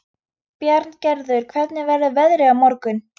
Bjarngerður, hvernig verður veðrið á morgun?